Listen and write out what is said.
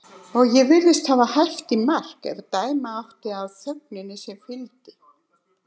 Og ég virtist hafa hæft í mark ef dæma átti af þögninni sem fylgdi.